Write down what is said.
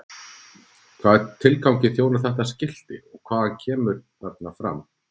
Hvaða tilgangi þjónar þetta skilti og hvað kemur þarna fram?